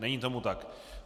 Není tomu tak.